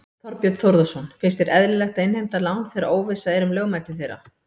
Þorbjörn Þórðarson: Finnst þér eðlilegt að innheimta lán þegar óvissa er um lögmæti þeirra?